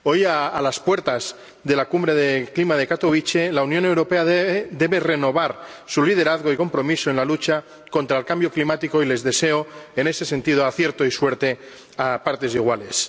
Hoy, a las puertas de la Cumbre del Clima de Katowice, la Unión Europea debe renovar su liderazgo y compromiso en la lucha contra el cambio climático y les deseo, en ese sentido, acierto y suerte a partes iguales.